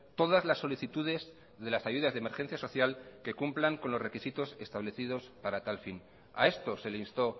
todas las solicitudes de las ayudas de emergencia social que cumplan con los requisitos establecidos para tal fin a esto se le instó